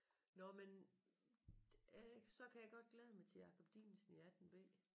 Nåh men øh så kan jeg godt glæde mig til Jacob Dinesen i 18b